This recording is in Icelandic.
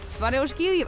farið á skíði ég